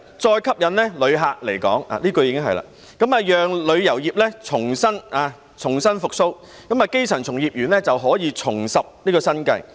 再吸引旅客來港——就是這一句——讓旅遊業重新復蘇，基層從業員可以重拾生計。